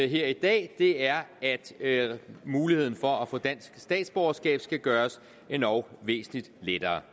her i dag er at muligheden for at få dansk statsborgerskab skal gøres endog væsentligt lettere